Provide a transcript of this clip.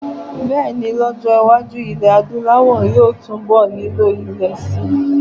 Bẹ́ẹ̀ ni, lọ́jọ́-iwájú, ilẹ̀ Adúláwọ̀ yóò túnbọ̀ nílò ilé síi.